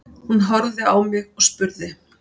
Hún horfði á mig og spurði